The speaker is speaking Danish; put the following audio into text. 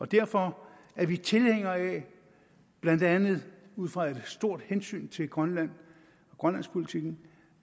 derfor er vi tilhængere af blandt andet ud fra et stort hensyn til grønland og grønlandspolitikken